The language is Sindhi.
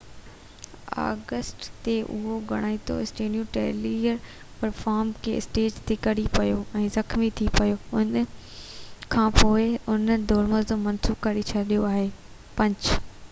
5 آگسٽ تي اهم ڳائڻو اسٽيون ٽيلر پرفارم ڪندي اسٽيج تي ڪري پيو ۽ زخمي ٿي پيو ان کانپوءِ انهن دورو منسوخ ڪري ڇڏيو آهي